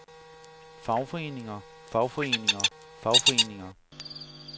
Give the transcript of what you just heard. fagforeninger fagforeninger fagforeninger